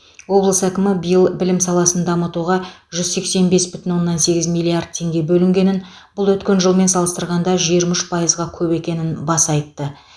облыс әкімі биыл білім саласын дамытуға жүз сексен бес бүтін оннан сегіз миллиард теңге бөлінгенін бұл өткен жылмен салыстырғанда жиырма үш пайызға көп екенін баса айтты